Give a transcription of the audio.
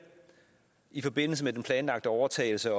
i forbindelse med den planlagte overtagelse